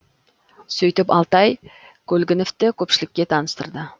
сөйтіп алтай көлгіновті көпшілікке таныстырды